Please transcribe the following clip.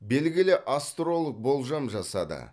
белгілі астролог болжам жасады